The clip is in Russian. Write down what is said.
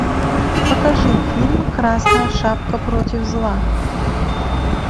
покажи фильм красная шапка против зла